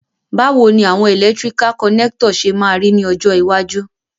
Bàwoni àwon electrical connector se ma ri ni ọjọ́ iwájú?